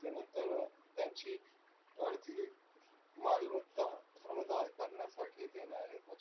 अं त्यांची अर्धी मालमत्ता करण्यासाठी